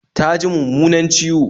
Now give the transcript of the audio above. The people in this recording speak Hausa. Ta ji mummunan ciwo